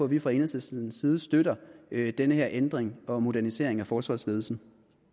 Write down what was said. vi fra enhedslistens side støtter den her ændring og modernisering af forsvarsledelsen